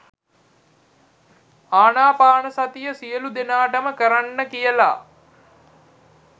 ආනාපානසතිය සියලු දෙනාටම කරන්න කියල